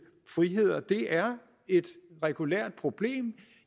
friheder det er et regulært problem